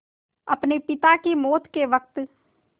अपने पिता की मौत के वक़्त